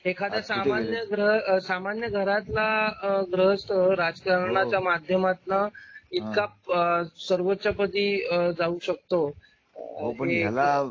सामान्य घरातला ग्रहस्थ राजकारणाच्या माध्यमातून इतका सर्वोच्चपदी जाऊ शकतो.